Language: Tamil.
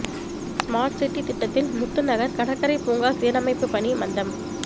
ஸ்மார்ட் சிட்டி திட்டத்தில் முத்துநகர் கடற்கரை பூங்கா சீரமைப்பு பணி மந்தம்